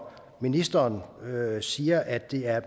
ministeren siger at det er